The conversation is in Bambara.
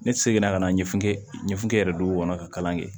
Ne seginna ka na ɲɛfan ɲɛfankɛ yɛrɛ don o kɔnɔ ka kalan kɛ